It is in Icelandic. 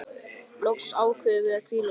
Loks ákváðum við að hvíla okkur.